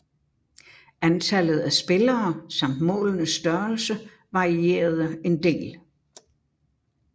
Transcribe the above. Antallet af spillere samt målenes størrelse varierede en del